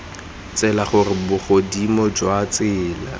tsela gore bogodimo jwa tsela